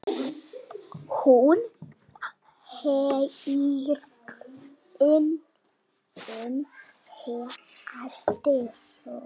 Hún heyrir það.